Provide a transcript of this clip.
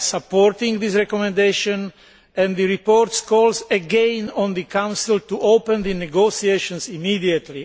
We are supporting this recommendation, and the report calls again on the Council to open the negotiations immediately.